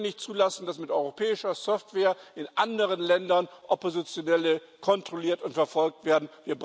Wir können nicht zulassen, dass mit europäischer Software in anderen Ländern Oppositionelle kontrolliert und verfolgt werden.